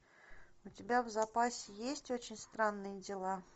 у тебя в запасе есть очень странные дела